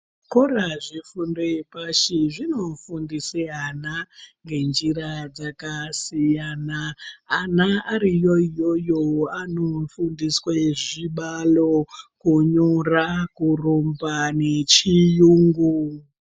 Zvikora zvefundo yepashi zvinofundisa ana ngenjira dzakasiyana. Ana ariyo iyoyo anofundiswa zvibalo, kunyora, kurumba nechiyungu.